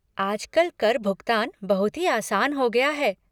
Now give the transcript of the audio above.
आजकल कर भुगतान बहुत ही आसान हो गया है।